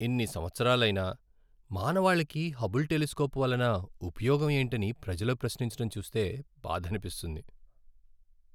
ఇన్ని సంవత్సరాలైనా, మానవాళికి హబుల్ టెలిస్కోప్ వలన ఉపయోగం ఏంటని ప్రజలు ప్రశ్నించడం చూస్తే బాధనిపిస్తుంది.